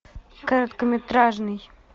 короткометражный